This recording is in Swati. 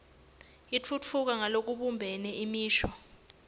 itfutfuka ngalokubumbene imisho